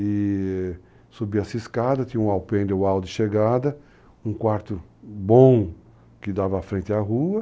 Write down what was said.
i-i subia-se escada, tinha um alpendre ao hall de chegada, um quarto bom, que dava frente à rua.